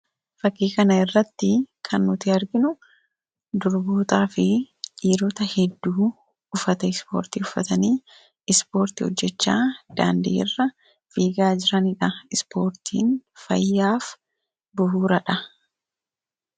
fakiikana irratti kan nuti arginu durbootaa fi dhiirota hedduu ufata ispoortii ufatanii ispoortii hojjechaa daandi'i irra fiigaa jiraniidha ispoortiin fayyaaf buhuuraadha